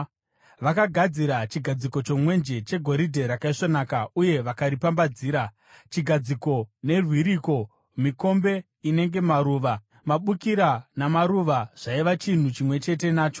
Vakagadzira chigadziko chomwenje chegoridhe rakaisvonaka uye vakaripambadzira, chigadziko nerwiriko; mikombe inenge maruva, mabukira namaruva zvaiva chinhu chimwe chete nacho.